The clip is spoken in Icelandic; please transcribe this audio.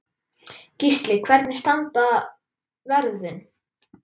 Gísli: Hvernig standa verðin?